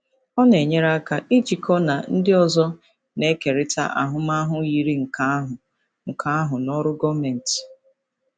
Ọ na-enyere aka ijikọ na ndị ọzọ na-ekerịta ahụmahụ yiri nke ahụ nke ahụ na ọrụ gọọmentị.